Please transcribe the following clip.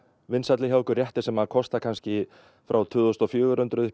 vinsælli hjá okkur réttir sem kosta kannski frá tvö þúsund og fjögur hundruð